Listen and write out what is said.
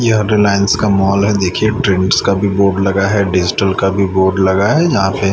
रिलायंस का मॉल है देखिए ट्रेंड्स का भी बोर्ड लगा है डिजिटल का भी बोर्ड लगा है यहां पे--